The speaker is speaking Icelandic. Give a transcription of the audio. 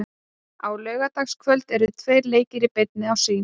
Á laugardagskvöld eru tveir leikir í beinni á Sýn.